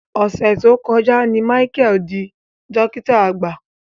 Ọ̀sẹ̀ tó kọjá ni Michael dí dọ́kìtà àgbà.